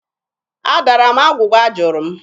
Adara m agwụgwa a jụrụ m.